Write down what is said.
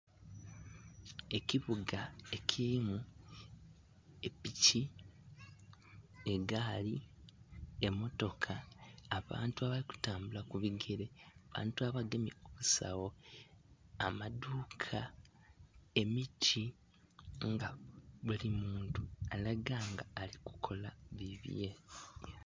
Ekibuga ekilimu epiki, egaali, emotoka, abantu abali kutambula ku bigere abantu abagemye ku bisawo, amadhuka, emiti nga buli muntu alaga nga alikukola bibye.